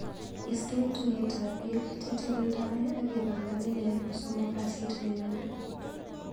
Istee tuiyetap piik cheteldoe akipangan nelel kosomok kasit nenyone.